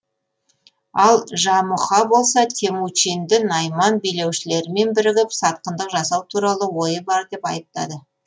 ал жамұха болса темучинды найман билеушілерімен бірігіп сатқындық жасау туралы ойы бар деп айыптады